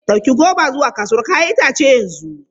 Ɗauki goba zuwa kasuwar 'ya'yan itace yanzu!